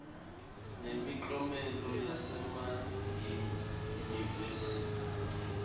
nemiklomelo yasema yunivesi